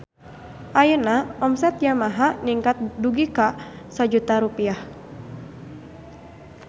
Ayeuna omset Yamaha ningkat dugi ka 1 juta rupiah